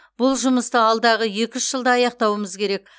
бұл жұмысты алдағы екі үш жылда аяқтауымыз керек